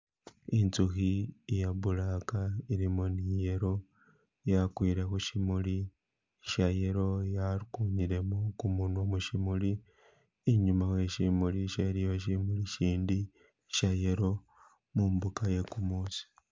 Inzukhi iya black ilimo ni yellow yagwile khuchimuli sha yellow yagunyilemo gumunwa muchimuli inyuma weshimuli sho iliyo shimuli shindi sha yellow mumbuga ye gumusi.